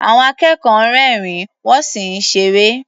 Àwọn akẹ́kọ̀ọ́ ń rẹ́rìn-ín, wọ́n sì ń ṣeré.